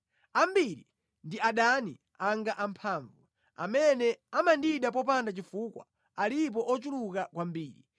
Ambiri ndi adani anga amphamvu; amene amandida popanda chifukwa alipo ochuluka kwambiri.